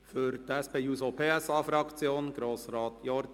Für die SP-JUSO-PSA-Fraktion spricht Grossrat Jordi.